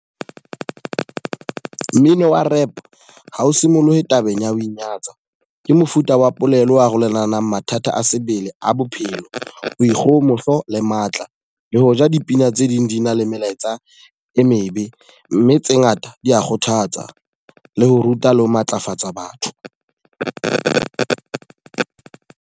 Mmino wa Rap, ha o simolohe tabeng ya ho inyatsa. Ke mofuta wa polelo arolelanang mathata a sebele a bophelo, boikgohomoso le matla. Le ho ja dipina tse ding di na le melaetsa e mebe, mme tse ngata di ya kgothatsa. Le ho ruta le ho matlafatsa batho.